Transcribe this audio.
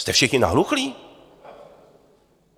Jste všichni nahluchlí?